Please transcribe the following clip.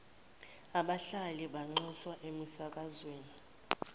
abahlali banxuswa emisakazweni